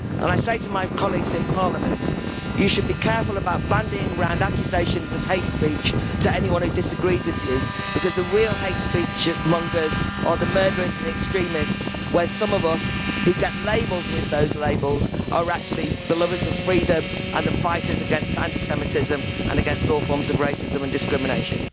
And I say to my colleagues in Parliament you should be careful about bandying around accusations of hate speech to anyone who disagrees with you the real hate-speech-mongers are the murderers and the extremists, whereas some of us who get labelled with those labels are actually the lovers of freedom and the fighters against anti Semitism and against all forms of racism and discrimination.